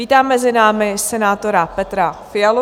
Vítám mezi námi senátora Petra Fialu.